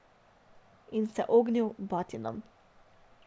In se ognil batinam.